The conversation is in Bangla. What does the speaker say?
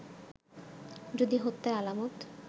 যদি হত্যার আলামত